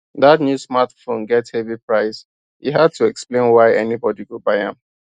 that new smartphone get heavy price e hard to explain why anybody go buy am